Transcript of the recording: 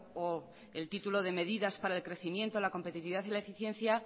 o el título de medidas para el crecimiento la competitividad y la eficiencia